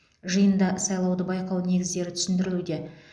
жиында сайлауды байқау негіздері түсіндірілуде